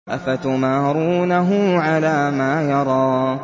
أَفَتُمَارُونَهُ عَلَىٰ مَا يَرَىٰ